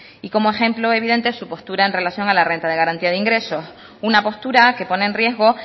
y como ejemplo evidente su postura en relación a la renta de garantía de ingresos una postura que pone en riesgo